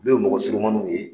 Olu ye mɔgɔ surumanuw ye.